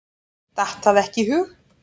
Datt það ekki í hug.